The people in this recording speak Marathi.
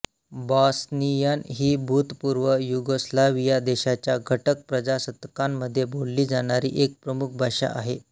बॉस्नियन ही भूतपूर्व युगोस्लाव्हिया देशाच्या घटक प्रजासत्ताकांमध्ये बोलली जाणारी एक प्रमुख भाषा आहे